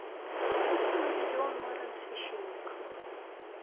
установи леон морен священник